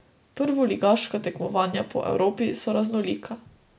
Prvoligaška tekmovanja po Evropi so raznolika.